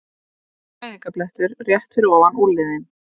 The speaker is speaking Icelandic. Fæðingarblettur rétt fyrir ofan úlnliðinn.